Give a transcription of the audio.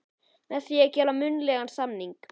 með því að gera munnlegan samning.